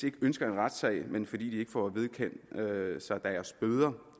ikke ønsker en retssag men fordi de ikke får vedkendt sig deres bøder